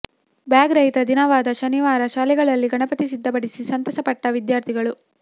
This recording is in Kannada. ಬ್ಯಾಗ್ ರಹಿತ ದಿನವಾದ ಶನಿವಾರ ಶಾಲೆಗಳಲ್ಲಿ ಗಣಪತಿ ಸಿದ್ಧಪಡಿಸಿ ಸಂತಸ ಪಟ್ಟ ವಿದ್ಯಾರ್ಥಿಗಳು